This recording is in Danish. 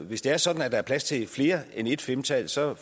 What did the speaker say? hvis det er sådan at der er plads til mere end ét femtal så er